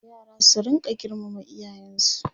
yara su rinka girmama iyayensu